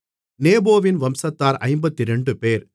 நேபோவின் வம்சத்தார் 52 பேர்